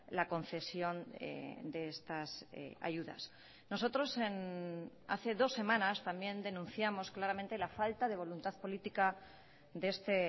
la concesión de estas ayudas nosotros hace dos semanas también denunciamos claramente la falta de voluntad política de este